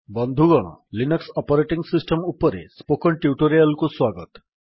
ବନ୍ଧୁଗଣ Linux operating system ଉପରେ spoken tutorial କୁ ସ୍ୱାଗତ